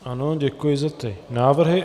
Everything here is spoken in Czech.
Ano, děkuji za ty návrhy.